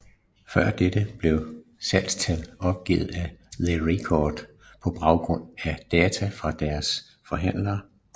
Før dette blev salgstal opgivet af The Record på baggrund af data fra deres forhandlere